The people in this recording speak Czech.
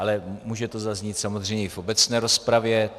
Ale může to zaznít samozřejmě i v obecné rozpravě.